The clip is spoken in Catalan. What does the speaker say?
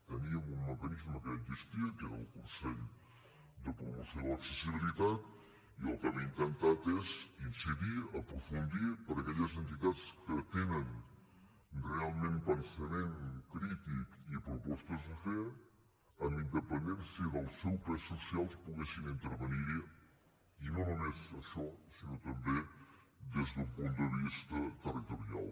teníem un mecanisme que ja existia que era el consell de promoció de l’accessibilitat i el que hem intentat és incidir aprofundir per a aquelles entitats que tenen realment pensament crític i propostes a fer amb independència del seu pes social que poguessin intervenir hi i no només això sinó també des d’un punt de vista territorial